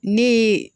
Ne ye